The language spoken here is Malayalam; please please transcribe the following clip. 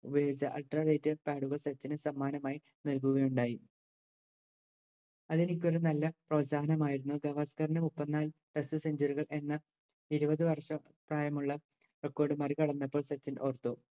ultra pad കൾ സച്ചിന് സമ്മാനമായി നൽകുകയുണ്ടായി അതെനിക്കൊരു നല്ല പ്രോത്സാഹനമായിരുന്നു ഗവാസ്‌ക്കറിന് ഇരുപത് വർഷം പ്രായമുള്ള record മറികടന്നപ്പോൾ സച്ചിൻ ഓർത്തു